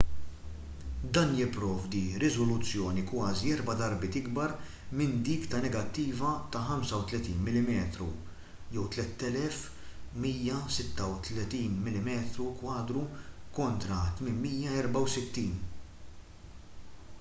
dan jipprovdi riżoluzzjoni kważi erba' darbiet ikbar minn dik ta' negattiva ta' 35 mm 3136 mm2 kontra 864